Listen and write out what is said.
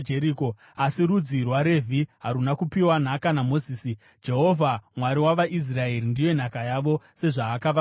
Asi rudzi rwaRevhi haruna kupiwa nhaka naMozisi; Jehovha, Mwari wavaIsraeri, ndiye nhaka yavo, sezvaakavavimbisa.